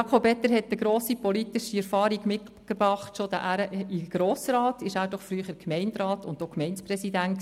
Er hat eine grosse politische Erfahrung in den Grossen Rat mitgebracht, war er doch früher Gemeinderat und Gemeindepräsident.